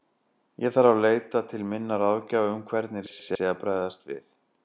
Ég þarf að leita til minna ráðgjafa um hvernig rétt sé að bregðast við.